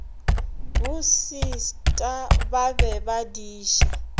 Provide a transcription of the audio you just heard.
bosista ba be ba diša